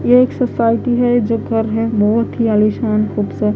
यह एक सोसाइटी है जो घर है बहुत ही आलीशान खूबसूरत--